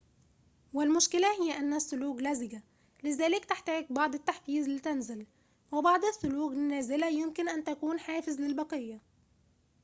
والمشكلة هي أن الثلوج لزجة لذلك تحتاج بعض التحفيز لتنزل وبعض الثلوج النازلة يمكن أن تكون حافز للبقية